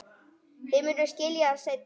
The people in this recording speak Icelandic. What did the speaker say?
Þið munuð skilja það seinna.